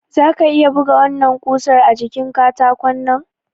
Zaka iya buga wannan kusar a jikin katakonnan?